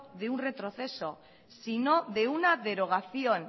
de un retroceso sino de una derogación